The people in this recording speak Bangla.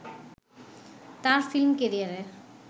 তার ফিল্ম ক্যারিয়ারের